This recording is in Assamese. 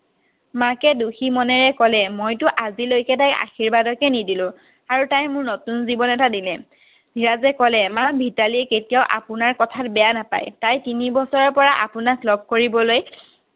মাকে দুখি মনেৰে ক'লে মইতো আজিলৈকে তাইক আশীৰ্বাদকে নিদিলো আৰু তাই মোক নতুন জীৱন এটা দিলে ধীৰজে ক'লে মা ভিতালীয়ে কেতিয়াও আপোনাৰ কথা বেয়া নেপায় তাই তিনি বছৰৰ পৰা আপোনাক লগ কৰিবলৈ